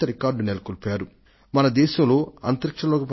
ఈ సందర్భంగా నేను దేశ ప్రజలకు సైతం అభినందనలు తెలియజేయాలనుకొంటున్నాను